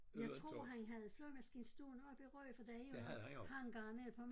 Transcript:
Jeg tror han havde flyvemaskine stående oppe i Rø for der er jo hangarer nede på